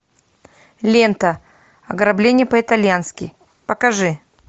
лента ограбление по итальянски покажи